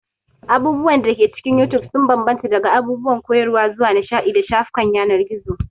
Abubuwan da ke cikin You Tube sun bambanta daga abubuwan koyarwa zuwa nishaɗi da shafukan yanar gizo.